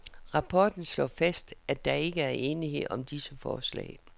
Rapporten slår fast, at der ikke er enighed om disse forslag.